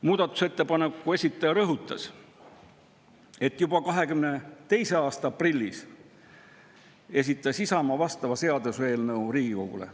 Muudatusettepaneku esitaja rõhutas, et juba 2022. aasta aprillis esitas Isamaa vastava seaduseelnõu Riigikogule.